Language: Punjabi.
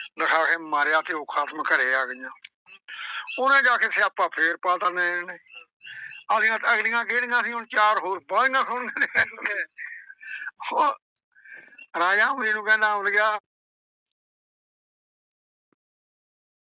ਦਿਖਾ ਕੇ ਮਾਰਿਆ ਘਿਓ ਖ਼ਤਮ ਘਰੇ ਆ ਗਈਆਂ। ਉਹਨੇ ਜਾ ਕੇ ਸਿਆਪਾ ਫੇਰ ਪਾਤਾ ਨੈਣ ਨੇ। ਅਗਲੀਆਂ ਕਿਹੜੀਆਂ ਸੀ ਹੁਣ ਚਾਰ ਹੋਰ ਬਾਹਲੀਆਂ ਸੋਹਣੀਆਂ ਨੇ ਉਹ ਰਾਜਾ ਅਮਲੀ ਨੂੰ ਕਹਿੰਦਾ ਅਮਲੀਆ।